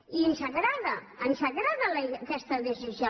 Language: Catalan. i ens agrada ens agrada aquesta decisió